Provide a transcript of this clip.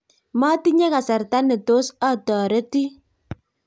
matinye kasarta ne tos atoretin